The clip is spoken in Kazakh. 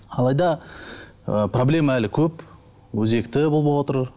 алайда ы проблема әлі көп өзекті болып отыр